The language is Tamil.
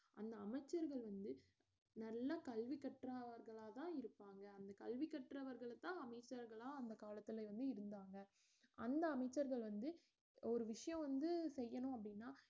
அந்த அமைச்சர்கள் வந்து நல்லா கல்வி கற்றவர்களாதான் இருப்பாங்க அந்த கல்வி கற்றவர்களத்தான் அமைச்சர்களா அந்த காலத்துல வந்து இருந்தாங்க அந்த அமைச்சர்கள் வந்து ஒரு விஷயம் வந்து செய்யணும் அப்படின்னா